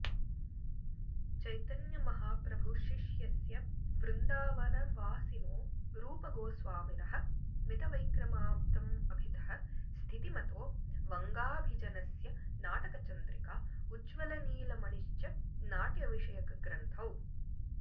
चैतन्यमहाप्रभुशिष्यस्य वृन्दावनवासिनो रूपगोस्वामिनः मितवैक्रमाब्दमभितः स्थितिमतो वङ्गाभिजनस्य नाटकचन्द्रिका उज्ज्वलनीलमणिश्च नाट्यविषयकग्रन्थौ